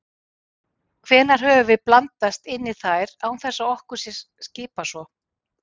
Hvenær höfum við blandast inn í þær án þess að okkur sé skipað svo?